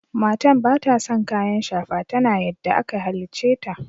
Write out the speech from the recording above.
Matan bata son kayan shafa. Tana yadda aka hallice ta.